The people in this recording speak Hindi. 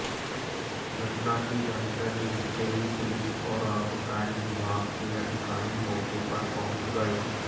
घटना की जानकारी मिलते ही पुलिस और आबकारी विभाग के अधिकारी मौके पर पहुंच गए